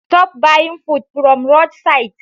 Stop buying food from rood sides